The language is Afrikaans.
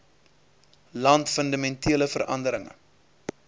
land fundamentele veranderinge